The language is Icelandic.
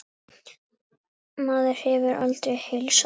Maður hefur aldrei heilsað þessu.